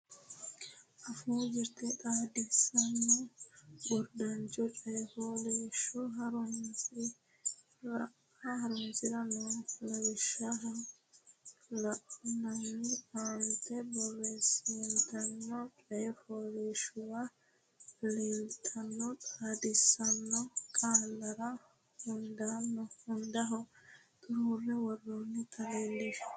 Afuu Jirte Xaadisaano Gurdancho Coy fooliishsho Horonsi ra noo lawishsha la ine aante borreessantino coy fooliishshuwa leeltanno xaadisaano qaallara hundaho xuruura wortine leellishshe.